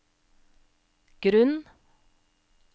grunn